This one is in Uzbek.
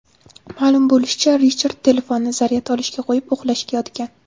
Ma’lum bo‘lishicha, Richard telefonni zaryad olishga qo‘yib, uxlashga yotgan.